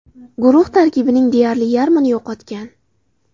Guruh tarkibining deyarli yarmini yo‘qotgan.